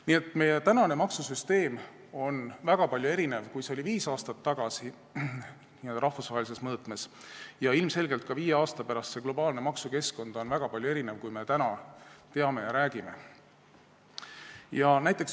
Nii et meie tänane maksusüsteem n-ö rahvusvahelises mõõtmes on väga erinev sellest, mis see oli viis aastat tagasi, ja ilmselgelt on ka viie aasta pärast globaalne maksukeskkond väga palju erinev sellest, mida me täna teame ja millest räägime.